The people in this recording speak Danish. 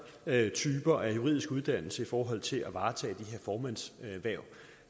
typer af juridisk uddannelse i forhold til at varetage de formandshverv